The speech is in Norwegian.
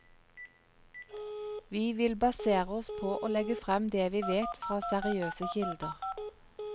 Vi vil basere oss på å legge frem det vi vet fra seriøse kilder.